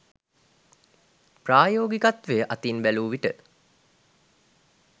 ප්‍රායෝගිකත්වය අතින් බැලූවිට